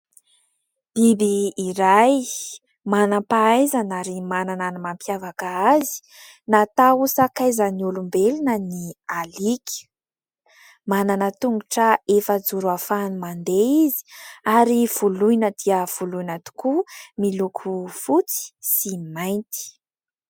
Biby iray manam-pahaizana ary manana ny mampiavaka azy na atao sakaizan'ny olombelona ny alika. Manana tongotra efajoro ahafahany mandeha izy ary voloina dia voloina tokoa, miloko fotsy sy mainty.